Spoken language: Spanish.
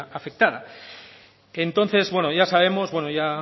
afectada entonces ya sabemos ya